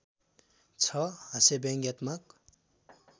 छ हास्यव्यङ्ग्यात्मक